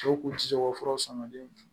Cɛw kun ti se ko fura sɔn ka di